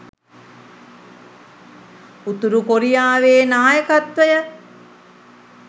උතුරු කොරියාවේ නායකත්වය